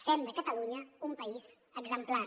fem de catalunya un país exemplar